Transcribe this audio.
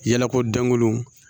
Yalako dankolon